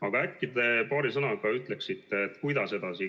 Aga äkki te paari sõnaga ütleksite, kuidas edasi.